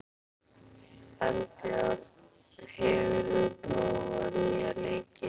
Eldjárn, hefur þú prófað nýja leikinn?